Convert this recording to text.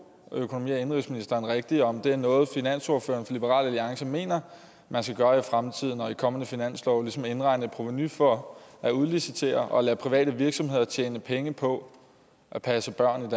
økonomi og indenrigsministeren rigtigt om det er noget finansordføreren for liberal alliance mener man skal gøre i fremtiden og i kommende finanslove altså ligesom indregne et provenu for at udlicitere og lade private virksomheder tjene penge på at passe børn